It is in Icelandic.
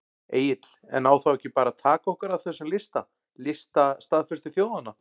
Egill: En á þá ekki bara að taka okkur af þessum lista, lista staðföstu þjóðanna?